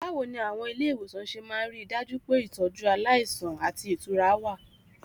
Báwo ni àwọn ilé ìwòsàn ṣe máa ń rí i dájú pé ìtọ́jú aláìsàn àti ìtura wà?